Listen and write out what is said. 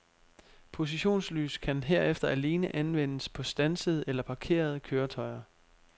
Positionslys kan herefter alene anvendes på standsede eller parkerede køretøjer.